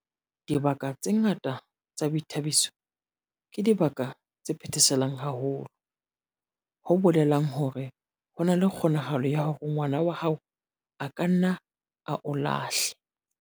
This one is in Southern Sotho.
Dibaka tse ngata tsa boithabiso ke dibaka tse phetheselang haholo, ho bolelang hore ho na le kgonahalo ya hore ngwana wa hao a ka nna a o lahle